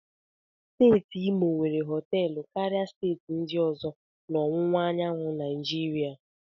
Steeti Imo nwere họtelụ karịa steeti ndị ọzọ na ọwụwa anyanwụ na Naijiria